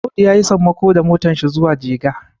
Audu ya yi sammako da motarsa zuwa jega